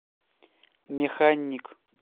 механик